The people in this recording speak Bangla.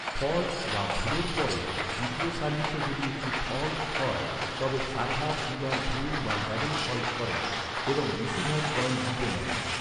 ফল্ট বা ভুলের পরে দ্বিতীয় সার্ভিসও যদি একটি ফল্ট হয় তবে সার্ভার দু'বার ভুল বা ডাবল ফল্ট করেন, এবং রিসিভার পয়েন্ট জিতে নেন।